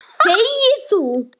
Þegi þú!